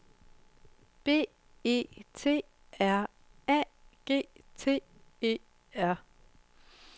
B E T R A G T E R